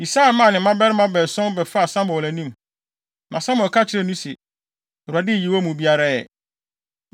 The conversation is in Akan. Yisai maa ne mmabarima baason bɛfaa Samuel anim, na Samuel ka kyerɛɛ no se, “ Awurade nyii wɔn mu biara ɛ.”